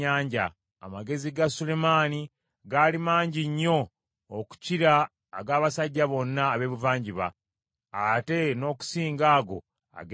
Amagezi ga Sulemaani gaali mangi nnyo okukira ag’abasajja bonna ab’ebuvanjuba , ate n’okusinga ago ag’e Misiri.